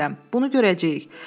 Bunu görəcəyik.